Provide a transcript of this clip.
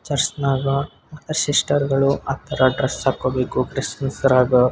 ಚರ್ಚ್ನಾಗ ಮತ್ತೆ ಸಿಸ್ಟರ್ಗಳು ಆ ತರ ಡ್ರೆಸ್ಸ್ ಹಾಕೊಬೇಕು ಕ್ರಿಸ್ಸ್ಮಸ್ಸ್ ದ್ರಾಗ.